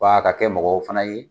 F'a ka kɛ mɔgɔw fana ye